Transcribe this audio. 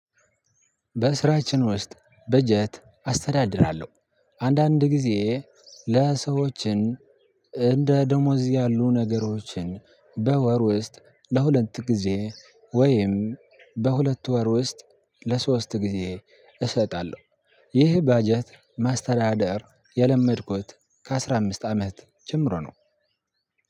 በስራችን ውስጥ በጀት አስተዳድራለሁ አንዳንድ ጊዜ ለሰዎችም እንደ ደሞዝ ያሉ ነገሮችን በወር ውስጥ ለሁለት ጊዜ ወይም በሁለት ወር ውስጥ ለሶስት ጊዜ እሰጣለሁ። ይህ በጀት ማስተዳደር የለመድኩት ከአስራ አምስት አመት ጀምሮ ነው።